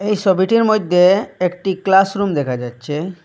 এই সবিটির মধ্যে একটি ক্লাসরুম দেখা যাচ্ছে।